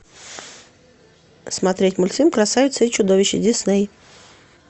смотреть мультфильм красавица и чудовище дисней